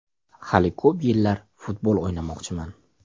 Hali ko‘p yillar futbol o‘ynamoqchiman.